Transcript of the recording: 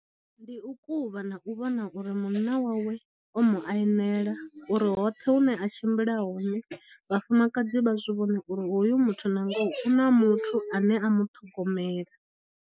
Ndi u kuvha na u vhona uri munna wawe o mu ainela uri hoṱhe hune a tshimbila hone vhafumakadzi vha zwi vhone uri hoyu muthu na ngoho u na muthu ane a muṱhogomela.